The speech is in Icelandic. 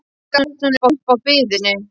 En ekki gafst hún upp á biðinni.